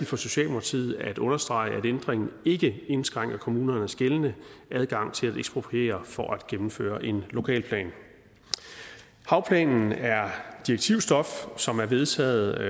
for socialdemokratiet at understrege at ændringen ikke indskrænker kommunernes gældende adgang til at ekspropriere for at gennemføre en lokalplan havplanen er direktivstof som er vedtaget og